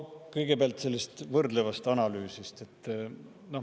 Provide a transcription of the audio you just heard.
Kõigepealt sellest võrdlevast analüüsist.